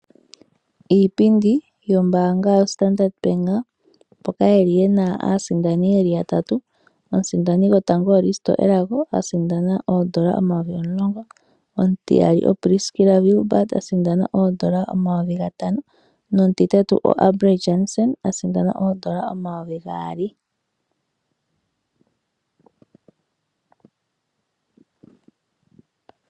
Iipindi yombanga yostandard bank mpoka yeli yena aasindani yeli ya tatu omusindani gotango oRisto Elago a sindana oondola omayovi omulongo, omutiyali oPriscila Wilbard a sindana oondola omayovi gatano nomutitatu oAlberd Janson a sindana oondola omayovi gaali.